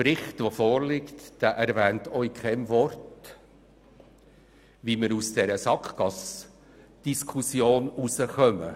Der vorliegende Bericht erwähnt auch mit keinem Wort, wie wir aus dieser Sackgassendiskussion herauskommen.